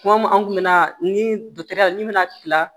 Kuma an kun me na ni ya ni me na kila